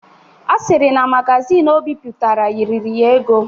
Ọ sịrị na magazin Ọ bipụtara riri ya ego.